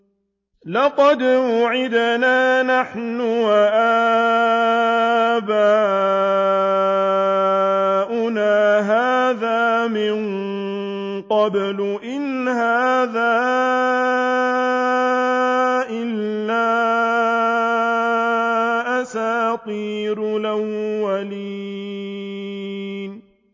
لَقَدْ وُعِدْنَا نَحْنُ وَآبَاؤُنَا هَٰذَا مِن قَبْلُ إِنْ هَٰذَا إِلَّا أَسَاطِيرُ الْأَوَّلِينَ